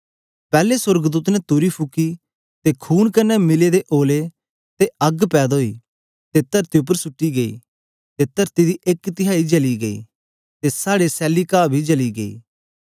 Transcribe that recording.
पैले सोर्गदूत ने तुरी फुकी ते खून कन्ने मिले दे ओलै ते अग्ग पैदा ओई ते तरती उपर सुट्टी गई ते तरती दी एक तिहाई जली गई ते साड़े सैली काह बी जली गई